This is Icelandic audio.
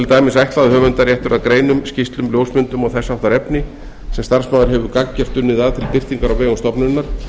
dæmis ætla að höfundaréttur að greinum skýrslum ljósmyndum og þess háttar efni sem starfsmaður hefur gagngert unnið að til birtingar á vegum stofnunar